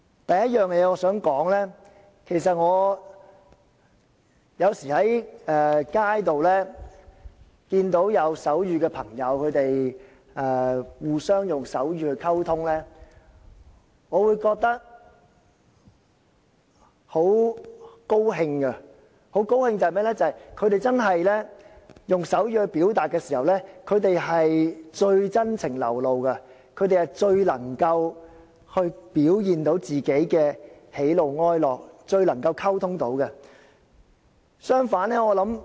第一點我想指出的是，有時候在街上看到有人互相用手語溝通，我會覺得很高興，因為聾人用手語表達的時候最為真情流露，最能夠表現自己的喜怒哀樂，最能夠作出溝通。